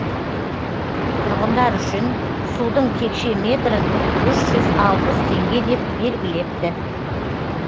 тұрғындар үшін судың текше метрін үш жүз алпыс теңге деп белгілепті